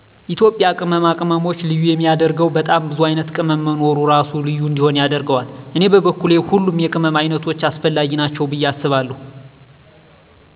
የኢትዩጵያ ቅመማ ቅመሞች ልዬ የሚየደረገወ በጣም ቡዙ አይነት ቅመም መኖሩ እራሱ ልዩ እንዲሆን ያደረገዋል። እኔ በኩል ሁሉም የቅመም አይነቶች አሰፈለጊ ናቸዉ ብየ አስባለሁ